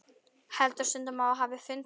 Heldur stundum að þú hafir fundið.